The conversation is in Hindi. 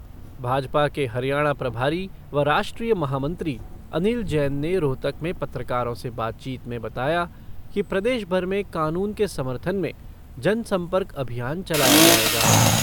भाजपा के हरियाणा प्रभारी व राष्ट्रीय महामंत्री अनिल जैन ने रोहतक में पत्रकारों से बातचीत में बताया कि प्रदेश भर में कानून के समर्थन में जनसंपर्क अभियान चलाया जाएगा।